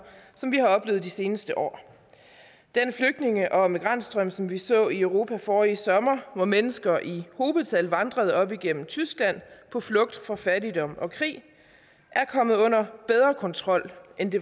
som vi har oplevet i de seneste år den flygtninge og migrantstrøm som vi så i europa forrige sommer hvor mennesker i hobetal vandrede op igennem tyskland på flugt fra fattigdom og krig er kommet under bedre kontrol end den